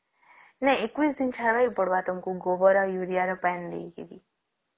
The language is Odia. ନାଇଁ ୨୧ ଦିନ ଛାଡିବାର ପଡିବ ତମକୁ ଗୋବର ଆଉ ୟୁରିଆ ର ପାଣୀ ଦେଇକି